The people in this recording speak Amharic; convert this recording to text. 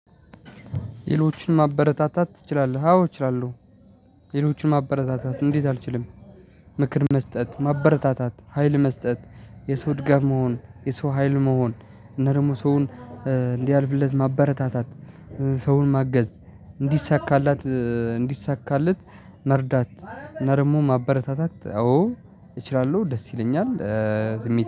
ሌሎችን ማበረታታት ትችላለህ? አዎ እችላለሁ። ሌሎችን ማበረታታት እንዴት? አልችልም። ምክር መስጠት ማበረታታት ሀይል መስጠት የሰው ድጋፍ መሆን የሰው ሀይል መሆን እና ደሞ ሰውን እንዲያልፍለት ማበረታታት። ሰውን ማገዝ እንዲሳካላት እንዲሳካለት መርዳት እና ደሞ ማበረታታት አዎ እችላለሁ። ደስ ይለኛል።